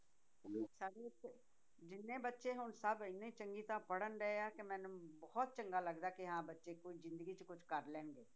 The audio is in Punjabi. ਜਿੰਨੇ ਬੱਚੇ ਹੁਣ ਸਭ ਇੰਨੇ ਚੰਗੇ ਪੜ੍ਹਣ ਡਿਆ ਕਿ ਮੈਨੂੰ ਬਹੁਤ ਚੰਗਾ ਲੱਗਦਾ ਹੈ ਕਿ ਹਾਂ ਬੱਚੇ ਕੁੱਝ ਜ਼ਿੰਦਗੀ 'ਚ ਕੁਛ ਕਰ ਲੈਣਗੇ